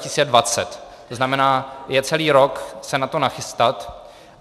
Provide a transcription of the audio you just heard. To znamená, je celý rok se na to nachystat.